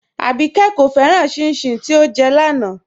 Àbíkẹ́ kò fẹ́ràn chin-chin tí ọ́ jẹ́ láńà